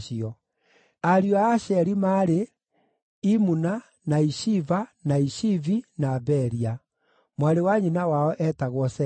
Ariũ a Asheri maarĩ: Imuna, na Ishiva, na Ishivi, na Beria. Mwarĩ wa nyina wao eetagwo Sera.